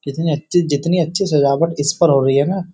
कितनी अच्छी जितनी अच्छी सजावट इस पर हो रही है ना --